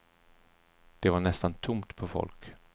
Där var nästan tomt på folk.